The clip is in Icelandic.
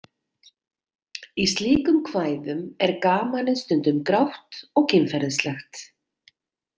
Í slíkum kvæðum er gamanið stundum grátt og kynferðislegt.